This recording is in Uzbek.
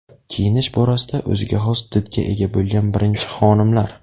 Kiyinish borasida o‘ziga xos didga ega bo‘lgan birinchi xonimlar.